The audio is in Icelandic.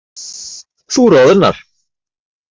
Þú roðnar.